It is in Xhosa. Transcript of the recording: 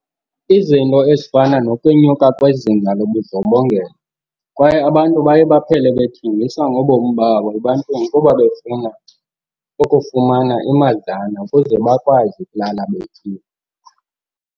Izinto ezifana nokwenyuka kwezinga lobudlobongela kwaye abantu baye baphele bethengisa ngobomi babo ebantwini kuba befuna ukufumana imadlana ukuze bakwazi ukulala betyile.